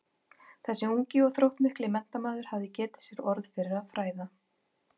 Þessi ungi og þróttmikli menntamaður hafði getið sér orð fyrir að fræða